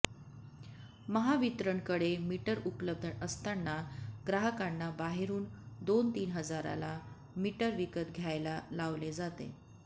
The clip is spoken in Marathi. महावितरणकडे मीटर उपलब्ध असताना ग्राहकांना बाहेरून दोन तीन हजाराला मीटर विकत घ्यायला लावले जाते